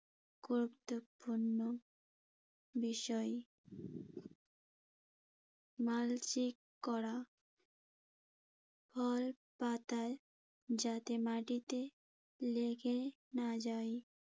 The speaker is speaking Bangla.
গুরুত্বপূর্ণ বিষয় মালচিং করা। খড় পাতা যাতে মাটিতে লেগে না যায়